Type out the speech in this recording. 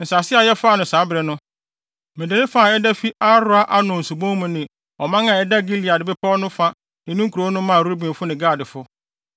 Nsase a yɛfaa no saa bere no, mede ne fa a ɛda fi Aroer Arnon subon mu ne ɔman a ɛda Gilead bepɔw no fa ne ne nkurow no maa Rubenfo ne Gadfo.